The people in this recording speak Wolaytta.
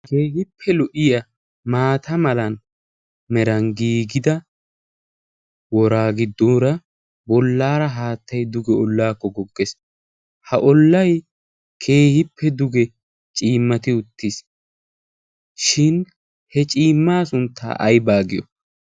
ha keehippe lu77iya maata malan meran giigida wora giddoora bollaara haattai duge ollaakko goggees. ha ollai keehippe duge ciimmati uttiis. shin he ciimmaa sunttaa ai baagiyo?